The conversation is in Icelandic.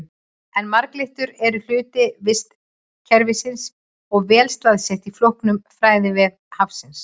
En marglyttur eru hluti vistkerfisins og vel staðsettar í flóknum fæðuvef hafsins.